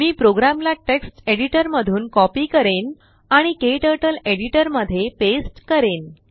मी प्रोग्रामला टेक्स्ट एडिटरमधून कॉपी करेन आणिKTurtleएडिटरमध्ये पेस्ट करीन